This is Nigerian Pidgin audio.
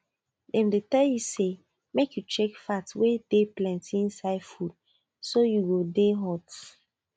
dem dey tell you say make you check fat wen dey plenty inside food so you go dey hot